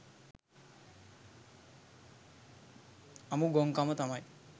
අමු ගොංකම තමයි